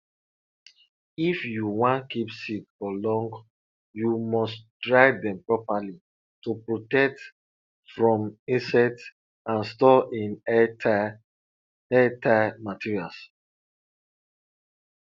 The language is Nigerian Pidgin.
if you wan keep seeds for long you must dry them properly to protect from insects and store in airtight airtight materials